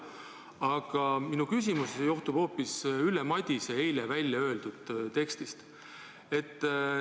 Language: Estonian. Aga minu küsimus johtub hoopis Ülle Madise eile välja öeldud sõnadest.